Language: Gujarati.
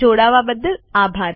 જોડાવા બદ્દલ આભાર